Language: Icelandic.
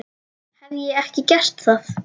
Hef ég ekki gert það?